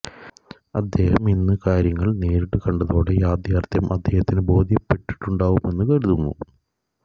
അദ്ദേഹം ഇന്ന് കാര്യങ്ങള് നേരിട്ട് കണ്ടതോടെ യാഥാര്ത്ഥ്യം അദ്ദേഹത്തിന് ബോദ്ധ്യപ്പെട്ടിട്ടുണ്ടാവുമെന്ന് കരുതുന്നു